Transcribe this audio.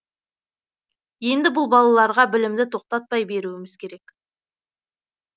енді бұл балаларға білімді тоқтатпай беруіміз керек